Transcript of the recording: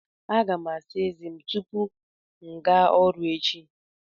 Aga m asa ézé m tupu m gaa ọrụ echi.